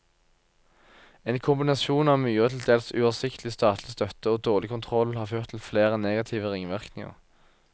En kombinasjon av mye og til dels uoversiktlig statlig støtte og dårlig kontroll har ført til flere negative ringvirkninger.